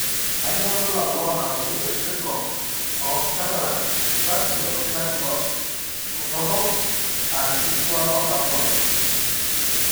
Kainyio irbulabul onaapuku esindirom oonCataracts, ataxia, orkitashei dorop , and enkishiliwata oondamunot?